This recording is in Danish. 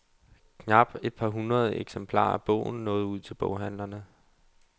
Knap et par hundrede eksemplarer af bogen nåede ud til boghandlerne.